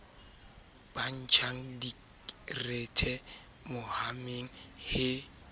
ba ntjang direthe hommeng he